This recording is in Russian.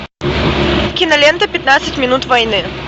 кинолента пятнадцать минут войны